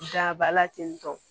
Daba la ten tɔ